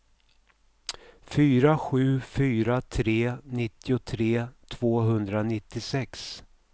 fyra sju fyra tre nittiotre tvåhundranittiosex